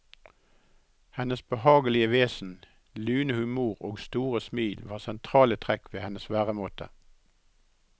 Hennes behagelige vesen, lune humor og store smil var sentrale trekk ved hennes væremåte.